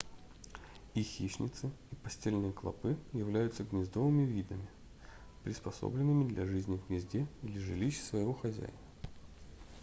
и хищнецы и постельные клопы являются гнездовыми видами приспособленными для жизни в гнезде или жилище своего хозяина